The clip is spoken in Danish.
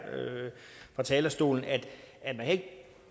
fra talerstolen